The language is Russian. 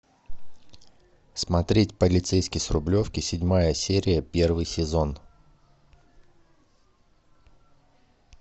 смотреть полицейский с рублевки седьмая серия первый сезон